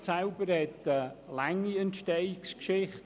Das Projekt selber hat eine lange Entstehungsgeschichte.